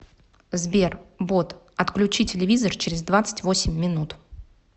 сбер бот отключи телевизор через двадцать восемь минут